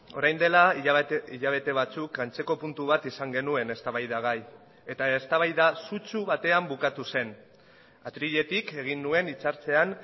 orain dela hilabete batzuk antzeko puntu bat izan genuen eztabaidagai eta eztabaida sutsu batean bukatu zen atriletik egin nuen hitz hartzean